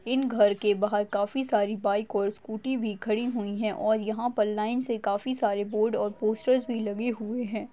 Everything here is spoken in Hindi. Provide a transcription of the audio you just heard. इन घर के बाहर काफी सारी बाइक और स्कूटी भी खड़ी हुई है और यहा पर लाइनसे काफी सारे बोर्ड और पोस्टर्स भी लगे हुए है।